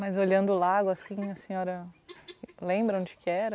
Mas olhando o lago assim, a senhora lembra onde que era?